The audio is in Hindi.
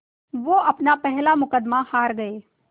वो अपना पहला मुक़दमा हार गए